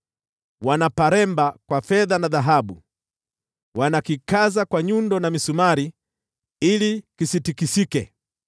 Wanaparemba kwa fedha na dhahabu, wanakikaza kwa nyundo na misumari ili kisitikisike.